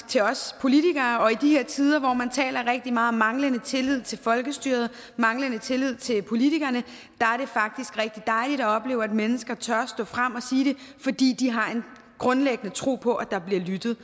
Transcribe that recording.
til os politikere og i de her tider hvor man taler rigtig meget om manglende tillid til folkestyret og manglende tillid til politikerne er det faktisk rigtig dejligt at opleve at mennesker tør stå frem og sige det fordi de har en grundlæggende tro på at der bliver lyttet